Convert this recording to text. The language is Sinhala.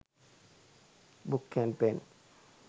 book and pen